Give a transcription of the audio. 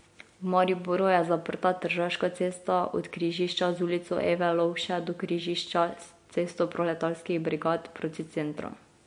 V Mariboru je zaprta Tržaška cesta od križišča z Ulico Eve Lovše do križišča s Cesto proletarskih brigad proti centru.